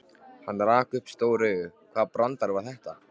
Hann rak upp stór augu, hvaða brandari var þetta?